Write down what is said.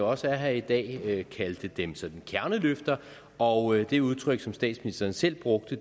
også er her i dag kaldte dem kerneløfter og det udtryk som statsministeren selv brugte